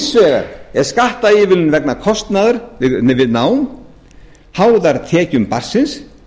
hins vegar er skattaívilnun vegna kostnaðar við nám háð tekjum barnsins